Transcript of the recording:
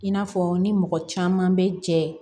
I n'a fɔ ni mɔgɔ caman bɛ jɛ